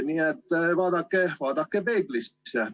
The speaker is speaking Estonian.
Nii et vaadake peeglisse.